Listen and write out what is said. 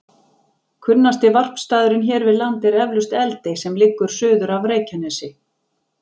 Kunnasti varpstaðurinn hér við land er eflaust Eldey sem liggur suður af Reykjanesi.